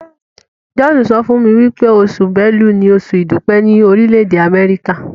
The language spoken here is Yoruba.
John sọfún mí wípé Oṣù Bélú ní Oṣù idupẹ ni Orile-ede Amẹrika.